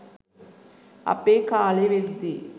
අපේ කාලෙ වෙද්දි